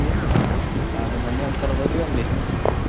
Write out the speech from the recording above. ನಾನು ಮೊನ್ನೆ ಒಂದ್ಸಲ ಹೋಗಿ ಬಂದೆ.